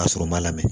Ka sɔrɔ u ma lamɛn